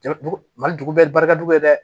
Mali dugu bɛɛ barika bɛ dɛ dɛ